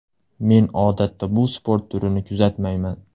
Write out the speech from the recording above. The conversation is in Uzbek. Men odatda bu sport turini kuzatmayman.